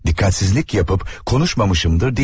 Dikkatsizlik yapıp konuşmamışımdır deyəmm.